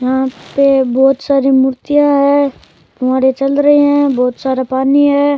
यहाँ पे बहुत सारी मूर्तियाँ है फुहारे चल रे है बहुत सारा पानी है।